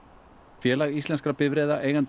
félag íslenskra bifreiðaeigenda